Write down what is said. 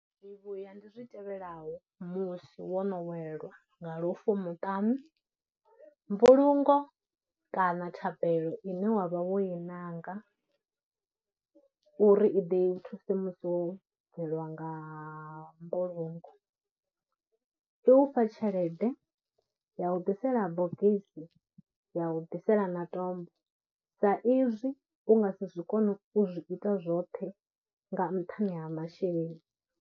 Zwivhuya ndi zwi tevhelaho musi wono welwa nga lufu muṱani, mbulungo kana thabelo ine wa vha wo i nanga uri i ḓe i thuse musi wo ḓelwa nga mbulungo i u fha tshelede, ya u ḓisela bogisi, ya u ḓisela na tombo sa izwi u nga si zwi kone u zwi ita zwoṱhe nga nṱhani ha masheleni.